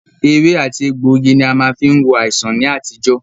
Ewé àti egbògi ní a má fí ń wo àìsàn ní àtijọ́.